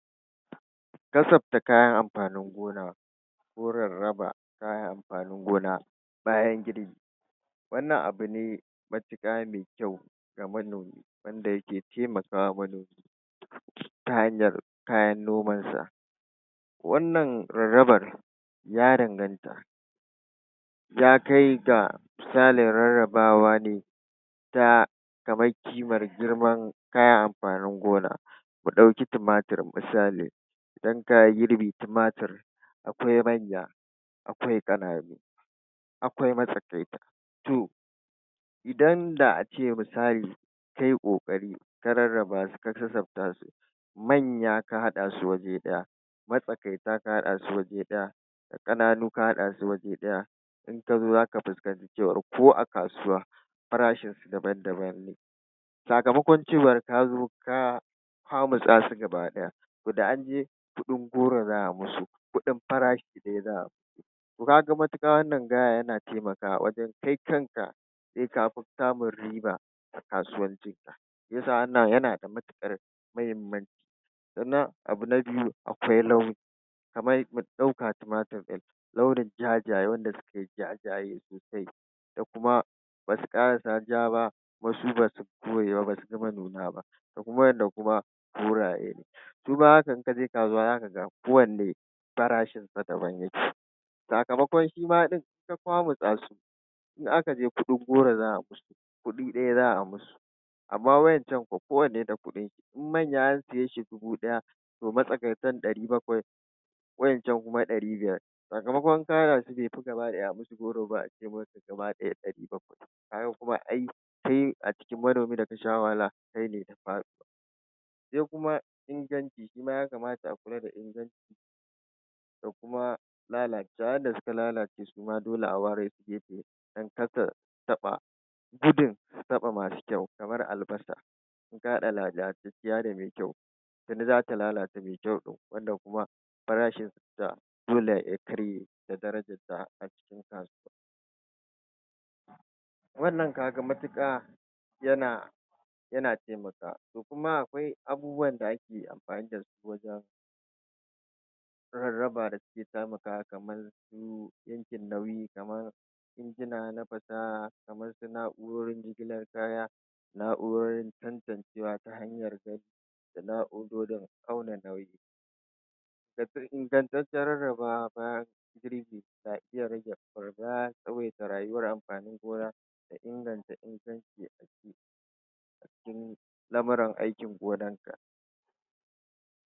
Kasafta kayan amfanin gona gurin raba kayan amfanin gona bayan girbi. Wannan abu ne matuƙa me kyau ga manomi wanda yake taimaka wa manomi ta hanyar kayan nomansa. Wannan rarrabar ya danganta, ta kai ga misalin rarrabawa ne ta kaman kimar girman kayan amfanin gona. Mu ɗauki tumatir misali idan ka girbe tumatir akwai manya, akwai ƙananu, akwai matsakaita. To idan da a ce misali kai ƙoƙari ka rarraba su ka kasafta su manya ka haɗa su waje ɗaya, matsakaita ka haɗa su waje ɗaya, ƙananu ka haɗa su waje ɗaya, in ka zo za ka fuskanci cewar ko a kasuwa farashinsu daban daban ne sakamakon cewar ka zo ta kwamutsa su gaba ɗaya. To da an je kuɗin goro za a musu, kuɗin farashi ɗaya za a musu. To ka ga matuƙa wannan gaya yana taimakawa wajen kai kanka se ka fi samun riba a kasuwancinka. Shi ya sa wannan yana da matuƙar mahimmanci. Sannan akwai abu na biyu akwai launi kaman mu ɗauka tumatir ɗin, launin jajaye wanda suke jajaye sosai da kuma ba su ƙarasa ja ba kuma su ba su kore ba, ba su gama nuna ba, da kuma waƴanda kuma koraye ne. Su ma haka in ka je kasuwa za ka ga kowanne farashinsa daban yake sakamakon shi ma ɗin ka kwamutsa su in aka je kuɗin goro za a musu kuɗi ɗaya za a musu. Amma waƴancan kwa kowanne da kuɗinshi in manya an siye shi dubu ɗaya to matsakaitan ɗari bakwai waƴancan kuma ɗari biyar sakamakon in ka haɗa su gabaɗaya ɗari bakwai. Ka ga kuma ai kai a cikin manomi da ka sha wahala kai ne ka faɗi. Se kuma inganci, shi ma ya kamata a kula da inganci da kuma lalacewa wanda suka lalace su ma dole a ware su gefe don kada su taɓa gudun su taɓa masu kyau kamar albasa in ka haɗa lalataciya da me kyau tuni za ta lalata me kyau ɗin wanda kuma farashinta dole ya karye da darajarta a cikin kasuwa. Wannan ka ga matuƙa yana yana taimakawa. To kuma akwai abubuwan da ake amfani da su wajen rarraba da suke taimakawa kaman injin nauyi kaman injina na fasaha kamar su na'urorin jigilar kaya, na'urorin tantancewa ta hanyar da na'urorin auna nauyi da ingantaccen rarrabawa bayan na iya rage, tsawaita rayuwar amfanin gona da inganta inganci cikin lamuran aikin gonanka.